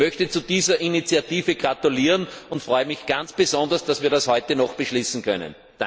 Ich möchte zu dieser Initiative gratulieren und freue mich ganz besonders, dass wir das heute noch beschließen können.